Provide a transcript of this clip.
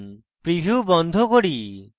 preview বন্ধ করি